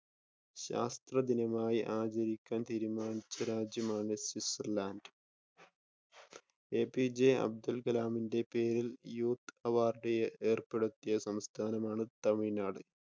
ശാസ്‌ത്രദിനമായി ആചരിക്കാൻ തീരുമാനിച്ച രാജ്യമാണ് സ്വിറ്റസർലാൻഡ്. എപിജെ അബ്ദുൽ കലാമിന്റെ പേരിൽ യൂത്ത് അവാർഡ് ഏർപ്പെടുത്തിയ സംസ്ഥാനമാണ് തമിഴ്‌നാട്.